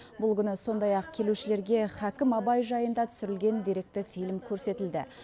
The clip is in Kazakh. бұл күні сондай ақ келушілерге һакім абай жайында түсірілген деректі фильм көрсетілді